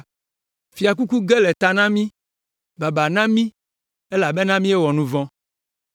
Fiakuku ge le ta na mí. Baba na mí elabena míewɔ nu vɔ̃!